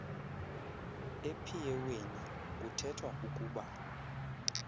ephieweni kuthethwa ukuba